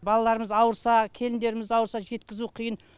балаларымыз ауырса келіндеріміз ауырса жеткізу қиын